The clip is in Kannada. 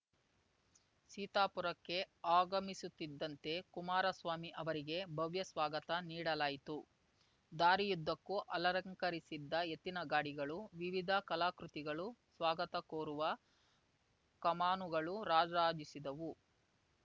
ಸೀತಾಪುರಕ್ಕೆ ಆಗಮಿಸುತ್ತಿದ್ದಂತೆ ಕುಮಾರಸ್ವಾಮಿ ಅವರಿಗೆ ಭವ್ಯ ಸ್ವಾಗತ ನೀಡಲಾಯಿತು ದಾರಿಯುದ್ದಕ್ಕೂ ಅಲಂಕರಿಸಿದ ಎತ್ತಿನಗಾಡಿಗಳು ವಿವಿಧ ಕಲಾಕೃತಿಗಳು ಸ್ವಾಗತ ಕೋರುವ ಕಮಾನುಗಳು ರಾರಾಜಿಸದವು